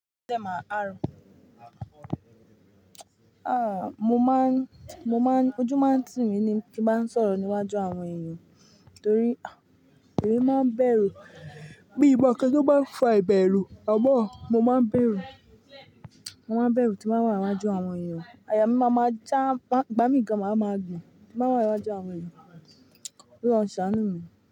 Tẹ máa àárọ̀. À, mo máa ń, mo máa ń, ojú máa ń tì mí ní kí máa sọ̀rọ̀ níwájú àwọn èèyàn torí ah ìwí máa ń bẹ̀rù. Bí mo kań to má fọ ẹbẹ̀ rùú, àmọ̀ mo máa ń bẹ̀rù. Mo máa ń bẹ̀rù tí bàá wà níwájú àwọn èèyàn. Àyà mí máa ma já, gbà mí gan máa ma bùn bí mo bá wà níwájú àwọn èèyàn. Óloun ṣàánú mi.